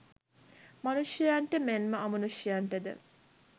මනුෂ්‍යයන්ට මෙන්ම අමනුෂ්‍යයන්ටද